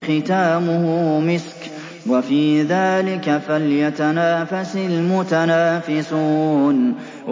خِتَامُهُ مِسْكٌ ۚ وَفِي ذَٰلِكَ فَلْيَتَنَافَسِ الْمُتَنَافِسُونَ